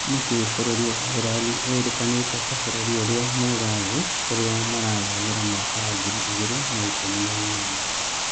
Nĩkĩĩ bũrũri wa Iceland wĩrĩkanĩte ta bũrũri ũria mwega thĩĩ kũarĩa marathamĩra mwaka wa ngiri igĩre na ikumi na inyanya.